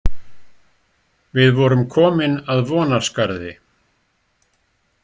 Við vorum komin að Vonarskarði.